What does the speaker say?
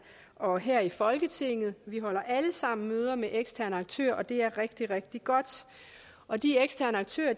og her i folketinget vi holder alle sammen møder med eksterne aktører og det er rigtig rigtig godt og de eksterne aktører